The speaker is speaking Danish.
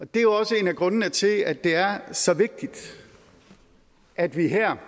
det er jo også en af grundene til at det er så vigtigt at vi her